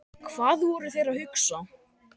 Hvað voru þeir að hugsa?